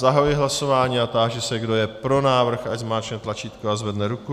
Zahajuji hlasování a táži se, kdo je pro návrh, ať zmáčkne tlačítko a zvedne ruku.